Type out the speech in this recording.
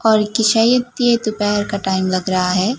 और कि शायद ये दोपहर का टाइम लग रहा है।